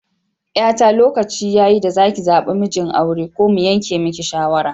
Yata lokaci yayi da zaki zabar mijin aure ko mu yanke miki shawarar